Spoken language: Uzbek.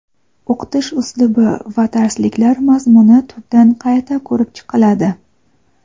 o‘qitish uslubi va darsliklar mazmuni tubdan qayta ko‘rib chiqiladi.